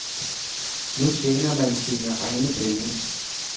Nu tjener man sine egne penge.